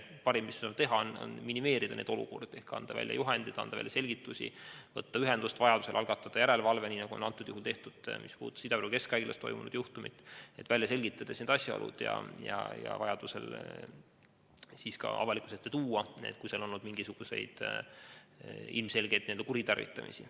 Parim, mis me teha saame, on minimeerida neid olukordi ehk anda välja juhendid, anda välja selgitused, võtta ühendust, vajaduse korral algatada järelevalve, nii nagu on Ida-Viru Keskhaiglas toimunud juhtumi puhul ka tehtud, et selgitada välja asjaolud ja need vajaduse korral ka avalikkuse ette tuua, kui seal on mingisuguseid ilmselgeid n-ö kuritarvitamisi.